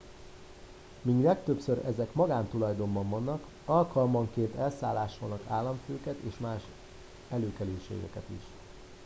míg legtöbbször ezek magántulajdonban vannak alkalmanként elszállásolnak államfőket és más előkelőségeket is